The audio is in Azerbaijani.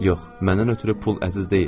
Yox, məndən ötrü pul əziz deyildi.